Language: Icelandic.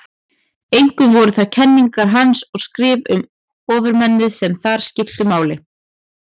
Einkum voru það kenningar hans og skrif um ofurmennið sem þar skiptu máli.